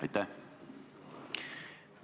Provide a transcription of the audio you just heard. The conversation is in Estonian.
Aitäh!